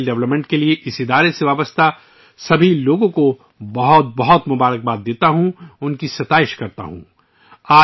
میں ہنر کے فروغ کے لیے ، اس تنظیم سے وابستہ تمام لوگوں کو مبارکباد پیش کرتا ہوں اور ان کی ستائش کرتا ہوں